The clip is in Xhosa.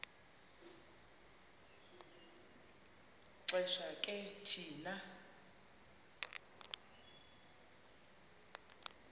xesha ke thina